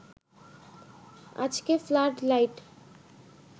আজকে flood light